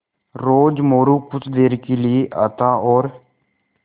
रोज़ मोरू कुछ देर के लिये आता और